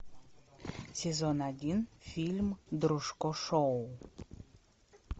сезон один фильм дружко шоу